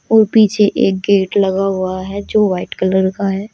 वो पीछे गेट लगा हुआ है जो व्हाइट कलर का है।